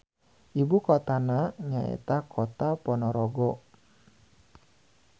Ibukotana nyaeta Kota Ponorogo.